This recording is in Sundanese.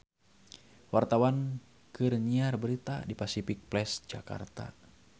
Wartawan keur nyiar berita di Pasific Place Jakarta